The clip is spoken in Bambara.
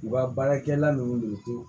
U ka baarakɛla ninnu de ko